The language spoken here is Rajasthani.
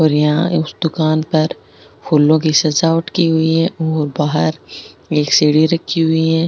और यहाँ इस दुकान पर फूलो की सजावट की हुई है और बाहर एक सीढ़ी रखी हुई है।